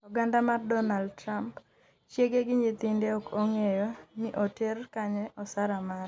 oganda mar Donald Trump; chiege gi nyithinde ,ok ong'eyo ni oter kanye osara mare